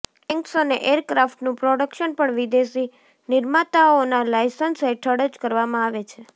tanks અને એરક્રાફ્ટનું production પણ વિદેશી નિર્માતાઓના લાયસન્સ હેઠળ જ કરવામાં આવે છે